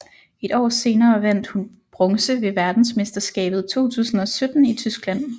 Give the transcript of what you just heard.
Et år senere vandt hun bronze ved verdensmesterskabet 2017 i Tyskland